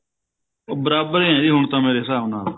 ਬਰਾਬਰ ਏ ਜੀ ਹੁਣ ਤਾਂ ਮੇਰੇ ਹਿਸਾਬ ਨਾਲ